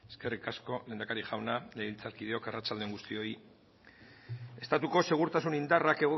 eskerrik asko lehendakari jauna legebiltzarkideok arratsalde on guztioi estatuko segurtasun indarrak